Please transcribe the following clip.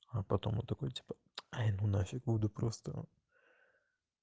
а потом он такой типа ай ну нафиг буду просто